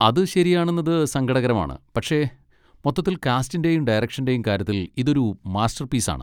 അത് ശെരിയാണെന്നത് സങ്കടകരമാണ്, പക്ഷെ മൊത്തത്തിൽ കാസ്റ്റിന്റേം ഡയറക്ഷന്റേം കാര്യത്തിൽ ഇതൊരു മാസ്റ്റർപീസാണ്.